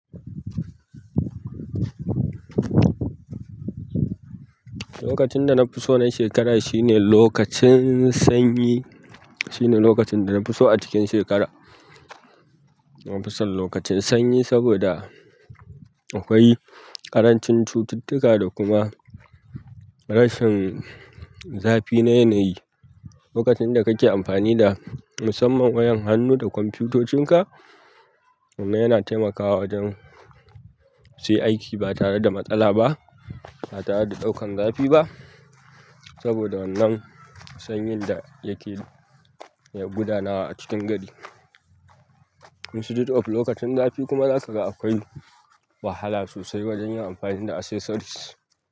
Lokacin danafiso na shekara shine lokacin sanyi, shine lokacin danafiso a cikin shekara na fi son lokacin sanyi saboda akwai ƙarancin cututtuka da kuma rashin zafi na yanayi. Lokacin da kake amfani da musamman wayan hannu da kwamfutocin ka, wannan yana taimakawa wajen sai aiki ba tare da matsala ba, ba tare da ɗaukan zafi ba saboda wannan sanyin da yake ya gudanawa a cikin gari instead of lokacin zafi kuma za ka ga akwai wahala sosai wajen yin amfani da accessories.